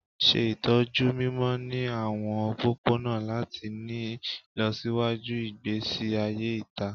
Ṣe itọju mimọ ni awọn opopona lati ni ilọsiwaju igbesi aye ita